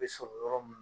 Bɛ sɔrɔ yɔrɔ min